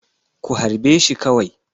Ku harbe shi kawai!